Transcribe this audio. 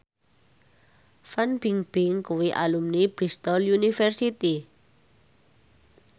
Fan Bingbing kuwi alumni Bristol university